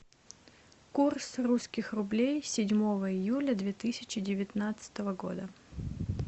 курс русских рублей седьмого июля две тысячи девятнадцатого года